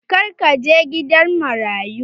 Za ka je gidan marayu?